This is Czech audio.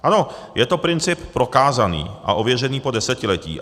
Ano, je to princip prokázaný a ověřený po desetiletí.